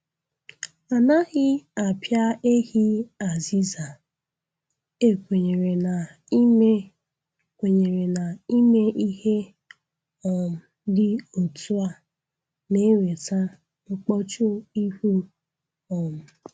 Anaghị apịa ehi azịza, e kwenyere na ime kwenyere na ime ihe um dị otu a na-eweta mkpọchu ihu um